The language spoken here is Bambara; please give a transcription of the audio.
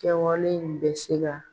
Kɛwalen in bɛ se ka